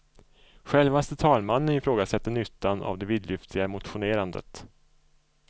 Självaste talmannen ifrågasätter nyttan av det vidlyftiga motionerandet.